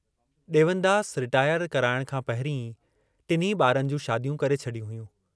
Dewandas retire कराइण खां पहिरीं ई टिन्ही ॿारनि जूं शादियूं करे छॾियूं हुयूं।